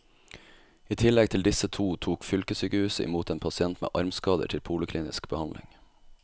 I tillegg til disse to tok fylkessykehuset i mot en pasient med armskader til poliklinisk behandling.